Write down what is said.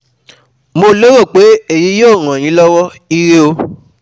Mo lérò pé èyí yóò ràn yín lọ́wọ́, Ire o